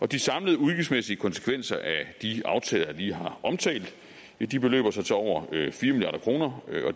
de samlede udgiftsmæssige konsekvenser af de aftaler jeg lige har omtalt beløber sig til over